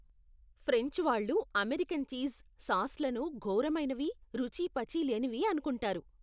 French వాళ్ళు American cheese, సాస్లను ఘోరమైనవి, రుచి పచి లేనివి అనుకుంటారు.